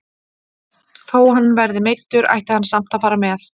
Þó hann verði meiddur ætti hann samt að fara með.